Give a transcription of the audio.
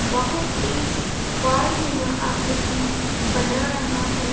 बहुत तेज बाड़ नुमा आकृति बना रहा है।